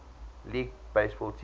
league baseball teams